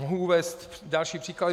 Mohu uvést další příklady.